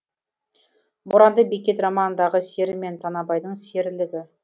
боранды бекет романындағы сері мен танабайдың серілігі